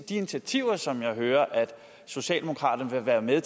initiativer som jeg hører at socialdemokraterne vil være med